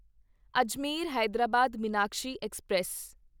Ajmer Hyderabad Meenakshi express